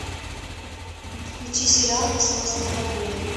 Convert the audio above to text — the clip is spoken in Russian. включи сериал несносная бабуля